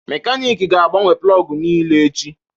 Mekaniki ga-agbanwe plọg niile echi